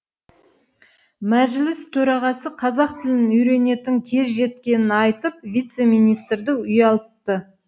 мәжіліс төрағасы қазақ тілін үйренетін кез жеткенін айтып вице министрді ұялтты